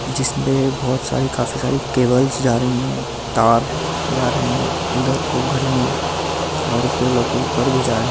जिसमे बहुत सारी काफ़ी सारी केबलस जा रही है तार जा रहे है इधर को घर में और फिर ऊपर भी जा रहे है ।